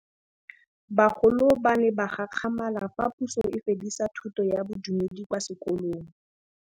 Bagolo ba ne ba gakgamala fa Pusô e fedisa thutô ya Bodumedi kwa dikolong.